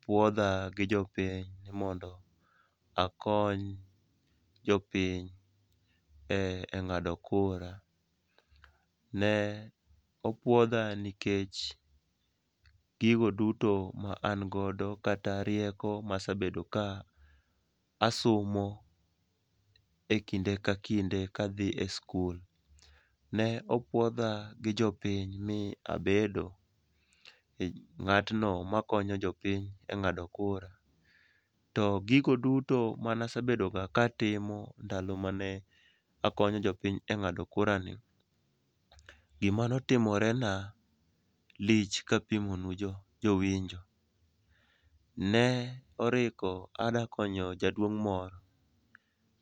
puodha gi jopiny ni mondo akony jopiny e ng'ado kura, ne opuodha nikech gigo duto ma na godo kata rieko ma asebedo ka asomo ekinde ka kinde ka adhi e skul. Ne opuodha gi jopiny mi abedo ng'atno makonyo jopiny e ng'ado kura to gigo duto mana sebedoga katimo ndalo mane akonyo jopiny e ng'ado kurani, gima notimorena lich kapimonu jowinjo. Ne oriko adakonyo jaduong' moro,